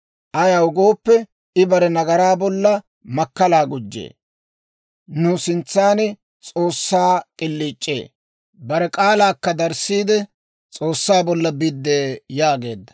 Ayaw gooppe, I bare nagaraa bolla makkalaa gujjee; nu sintsan S'oossaa k'iliic'ee. Bare k'aalaakka darissiide, S'oossaa bolla biddee» yaageedda.